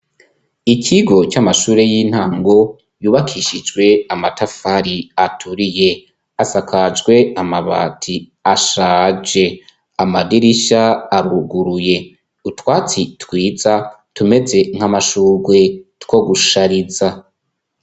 Ikigo c'amashure y'intango yubakishijwe amatafari aturiye asakajwe amabati ashaje amadirisha aruguruye utwatsi twiza tumeze nk'amashugwe two gushariza.